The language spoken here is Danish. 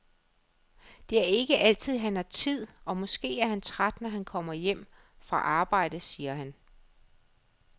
Det er ikke altid han har tid og måske er han træt når han kommer hjem fra arbejde, siger han.